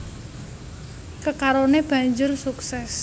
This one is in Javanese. Kekaroné banjur sukses